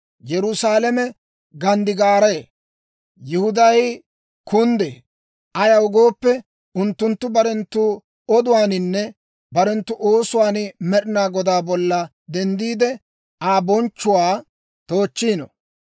Yerusaalame ganddigaaree; Yihuday kunddee; ayaw gooppe, unttunttu barenttu oduwaaninne barenttu oosuwaan Med'inaa Godaa bolla denddiide, Aa bonchchuwaa toochchiino.